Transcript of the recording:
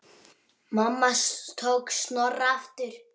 Mamma tók Snorra aftur.